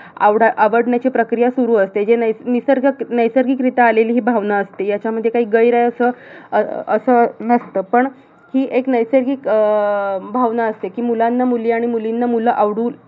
आवडा आवडण्याची प्रक्रिया सुरु असते. जे नैस निसर्ग, नैसर्गिकरित्या हि आलेली भावना असते. ह्यांच्यामध्ये काही गैर आहे असं अह असं नसतं. पण हि एक नैसर्गिक अह अं भावना असते कि मुलांना मुली आणि मुलींना मुलं आवडून